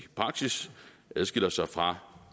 i praksis adskiller sig fra